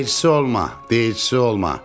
Deyilçisi olma, deyilçisi olma.